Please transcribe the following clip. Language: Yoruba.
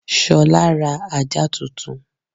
Ṣolá ra ajá tuntun.